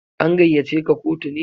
An gaiya ce ka kotu ne?